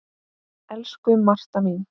Elsku Marta mín.